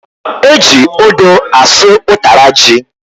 Eji odo asụ utara ji